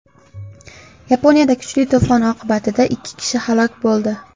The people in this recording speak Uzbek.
Yaponiyada kuchli to‘fon oqibatida ikki kishi halok bo‘ldi.